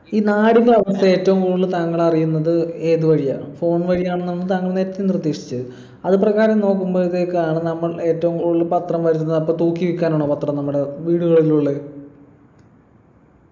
ഈ നാടിൻ്റെ അവസ്ഥ ഏറ്റവും കൂടുതൽ താങ്കൾ അറിയുന്നത് ഏതു വഴിയാണ് phone വഴിയാണ് എന്നാണ് താങ്കൾ നേരത്തെ നിർദ്ദേശിച്ചത് അത് പ്രകാരം നോക്കുമ്പോഴത്തേക്കാണ് നമ്മൾ ഏറ്റവും കൂടുതൽ പത്രം വരുന്നത് അപ്പൊ തൂക്കി വിൽക്കാൻ ആണോ പത്രം നമ്മുടെ വീടുകളിൽ ഉള്ളെ